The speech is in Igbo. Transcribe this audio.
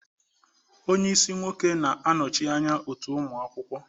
onye isi nwoke, na-anọchi anya otu ụmụ akwụkwọ.